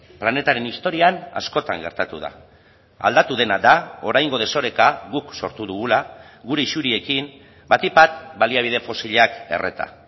planetaren historian askotan gertatu da aldatu dena da oraingo desoreka guk sortu dugula gure isuriekin batik bat baliabide fosilak erreta